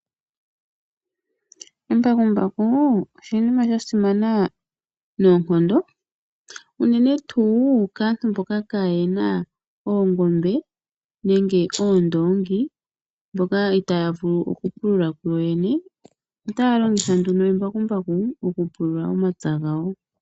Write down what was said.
Embakumbaku oshinima sha simana noonkondo, uunene tuu kaantu mboka kaayena oongombe nenge oondongi, mboka itaya vulu oku pulula ku yoyene. Otaya longitha nduno omambakumbaku oku pulula omapya gawo.